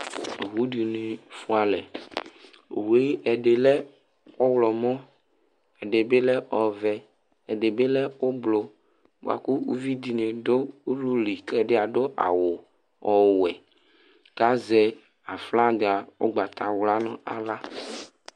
Owu dɩnɩ fʋa alɛ Owu yɛ, ɛdɩ lɛ ɔɣlɔmɔ, ɛdɩ bɩ lɛ ɔvɛ, ɛdɩ bɩ lɛ oblʋ bʋa kʋ uvi dɩnɩ dʋ ulu li kʋ ɛdɩ adʋ awʋ ɔwɛ kʋ azɛ aflaga ʋgbatawla nʋ aɣla